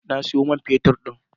Na sayo man fetut din.